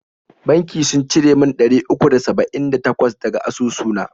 Banki sun cire mun ɗari uku da saba'in da takwas daga asusu na.